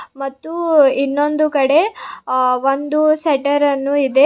ಮತ್ತು ಇನ್ನೊಂದು ಕಡೆ ಅ ಒಂದು ಸೆಟ್ಟರನ್ನು ಇದೆ.